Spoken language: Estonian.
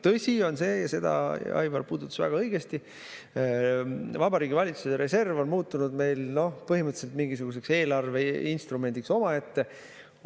Tõsi on see ja seda Aivar puudutas väga õigesti: Vabariigi Valitsuse reserv on muutunud meil põhimõtteliselt mingisuguseks eelarveinstrumendiks omaette.